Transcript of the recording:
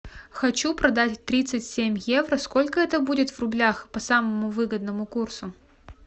хочу продать тридцать семь евро сколько это будет в рублях по самому выгодному курсу